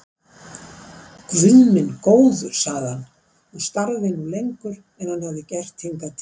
Guð minn góður sagði hann og starði nú lengur en hann hafði gert hingað til.